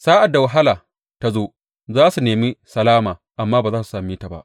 Sa’ad da wahala ta zo, za su nemi salama, amma ba za su same ta ba.